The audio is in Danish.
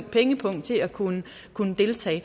pengepung til at kunne kunne deltage